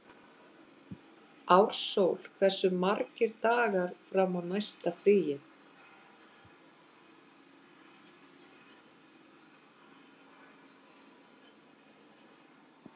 Ársól, hversu margir dagar fram að næsta fríi?